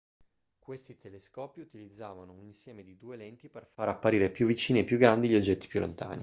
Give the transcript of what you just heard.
questi telescopi utilizzavano un insieme di due lenti per far apparire più vicini e più grandi gli oggetti più lontani